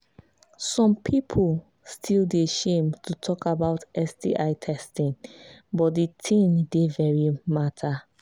some people still they shame to talk about sti testing but the thing dey very matter